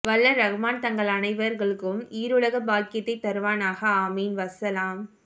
வல்ல ரஹ்மான் தங்கள் அனைவர்களுக்கும் ஈருலக பாக்கியத்தை தருவானாக ஆமீன் வஸ்ஸலாம்